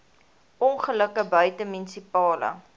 ongelukke buite munisipale